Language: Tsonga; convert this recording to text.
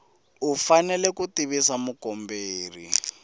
u fanele ku tivisa mukomberi